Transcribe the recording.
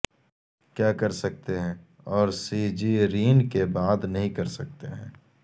کیا کر سکتے ہیں اور سیجیرین کے بعد نہیں کر سکتے ہیں